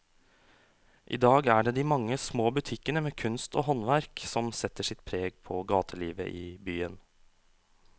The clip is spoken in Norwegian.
I dag er det de mange små butikkene med kunst og håndverk som setter sitt preg på gatelivet i byen.